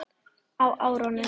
Á árunum